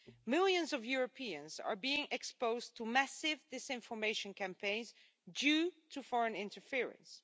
Millions of Europeans are being exposed to massive disinformation campaigns due to foreign interference.